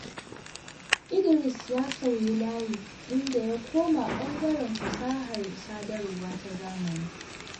Idris ya sauyi layi, inda ya koma ɓangaren fasahar sadarwa ta zamani.